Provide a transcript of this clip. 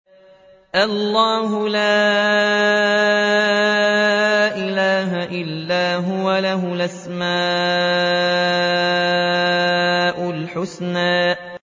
اللَّهُ لَا إِلَٰهَ إِلَّا هُوَ ۖ لَهُ الْأَسْمَاءُ الْحُسْنَىٰ